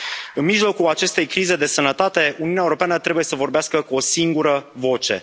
În mijlocul acestei crize de sănătate, Uniunea Europeană trebuie să vorbească cu o singură voce.